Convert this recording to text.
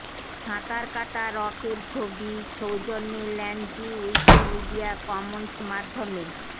সাঁতার কাটা রক এর ছবি ছবি সৌজন্যে ল্যানজি উইকিমিডিয়া কমন্স মাধ্যমে